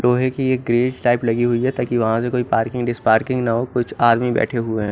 लोहे की यह ग्रीस टाइप लगी हुई है ताकि वह से कुछ पार्किंग डिस पार्किंग ना हो कुछ आदमी बेठे हुए है।